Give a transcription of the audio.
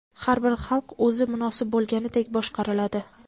"Har bir xalq o‘zi munosib bo‘lganidek boshqariladi".